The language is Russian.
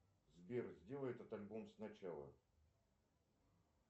сбер сделай этот альбом сначала